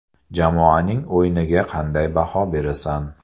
Jamoaning o‘yiniga qanday baho berasan?